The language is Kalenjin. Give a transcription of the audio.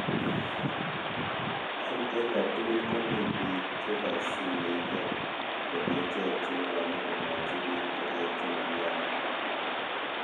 eng kotugul komi biik chekosyinigei kole ichek chenyolu komwochi biik ngoroik chemonyoolu